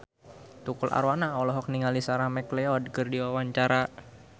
Tukul Arwana olohok ningali Sarah McLeod keur diwawancara